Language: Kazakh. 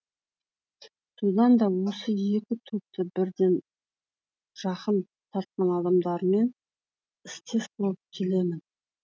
содан да осы екі топты бірден жақын тартқан адамдармен істес болып келемін